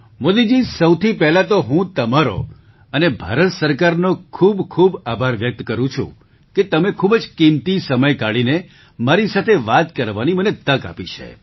મોદીજી સૌથી પહેલા તો હું તમારો અને ભારત સરકારનો ખૂબ ખૂબ આભાર વ્યક્ત કરું છું કે તમે ખૂબ જ કિંમતી સમય કાઢીને મારી સાથે વાત કરવાની મને તક આપી છે